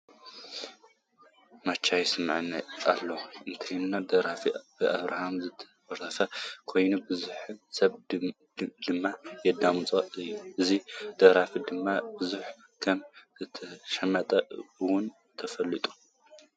ማቻ ይስመዐኒ ኣሎ እትብል ደርፊ ብኣብርሃም ዝተደረፈት ኮይና ቡዙሕ ሰብ ድማ የዳምፃ እዩ። እዛ ደርፊ ድማ ቡዙሕ ከም ዝተሸጠት እውን ትፍለጥ።